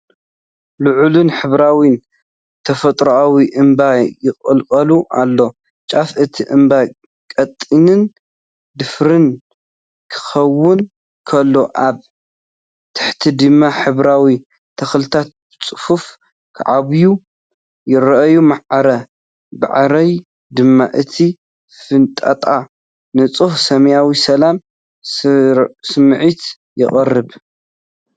ልዑልን ሕብራዊን ተፈጥሮኣዊ እምባ ይቕልቀል ኣሎ። ጫፍ እቲ እምባ ቀጢንን ደፋርን ክኸውን ከሎ፡ ኣብ ታሕቲ ድማ ሕብራዊ ተኽልታት ብጽፉፍ ክዓብዩ ይረኣዩ። ማዕረ ማዕሪኡ ድማ እቲ ፍንጣጣ ንጹህ ሰማያዊ ሰላም ስምዒት የቕርብ።